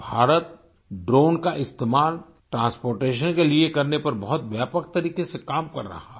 Bharat drone का इस्तेमाल transportation के लिए करने पर बहुत व्यापक तरीके से काम कर रहा है